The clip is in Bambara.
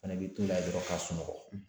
Fana bɛ to la yen dɔrɔn ka sunɔgɔ.